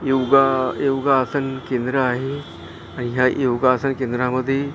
योगा योगासनं केंद्र आहे आणि ह्या योगासनं केंद्रा मध्ये --